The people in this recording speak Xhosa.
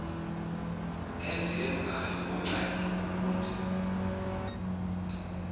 endiyenzayo kuncedo ulundi